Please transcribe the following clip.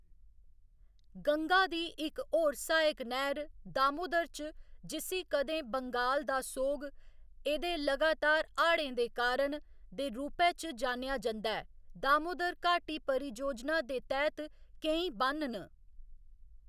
गंगा दी इक होर सहायक नैह्‌र दामोदर च, जिस्सी कदें बंगाल दा सोग, एह्‌‌‌दे लगातार हाढ़ें दे कारण, दे रूपै च जानेआ जंदा ऐ, दामोदर घाटी परिजोजना दे तैह्‌‌‌त केईं ब'न्न न।